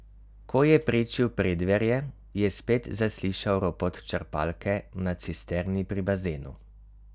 Ko je prečil preddverje, je spet zaslišal ropot črpalke na cisterni pri bazenu.